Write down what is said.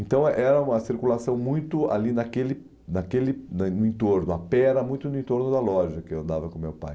Então era uma circulação muito ali naquele naquele no entorno, a pera muito no entorno da loja que eu andava com o meu pai.